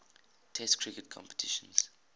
test cricket competitions